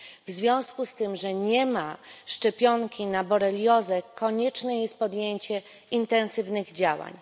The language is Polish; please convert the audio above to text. W związku z tym, że nie ma szczepionki na boreliozę, konieczne jest podjęcie intensywnych działań.